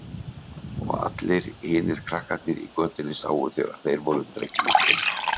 Og allir hinir krakkarnir í götunni sáu þegar þeir voru dregnir inn.